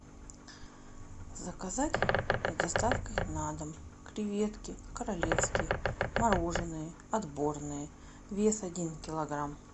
заказать с доставкой на дом креветки королевские мороженные отборные вес один килограмм